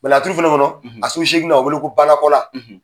laturu fana kɔnɔ a so seeginan o bɛ wele ko Banakɔla.